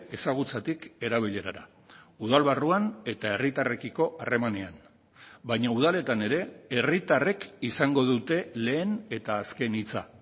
ezagutzatik erabilerara udal barruan eta herritarrekiko harremanean baina udaletan ere herritarrek izango dute lehen eta azken hitza